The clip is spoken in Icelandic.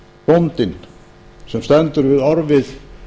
bóndinn sem stendur við orfið